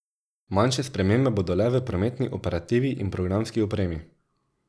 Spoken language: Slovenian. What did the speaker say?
Manjše spremembe bodo le v prometni operativi in programski opremi.